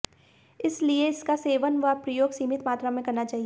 इस लिए इसका सेवन व प्रयोग सीमित मात्रा में करना चाहिए